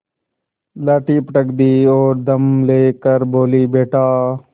लाठी पटक दी और दम ले कर बोलीबेटा